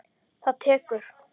Það tekur